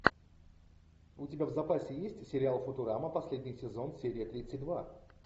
у тебя в запасе есть сериал футурама последний сезон серия тридцать два